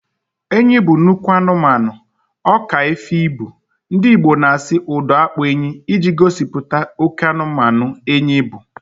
Enyi bụ nnukwu anụmanụ, ọka efi na ibu, ndị Igbo na asị 'ụdọ akpụ enyi' iji gosipụta oké anụmanụ enyi bụ